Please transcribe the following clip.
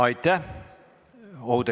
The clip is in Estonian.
Aitäh!